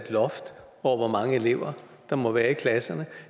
loft over hvor mange elever der må være i klasserne